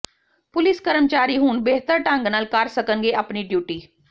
police ਕਰਮਚਾਰੀ ਹੁਣ ਬਿਹਤਰ ਢੰਗ ਨਾਲ ਕਰ ਸਕਣਗੇ ਆਪਣੀ ਡਿਉਟੀ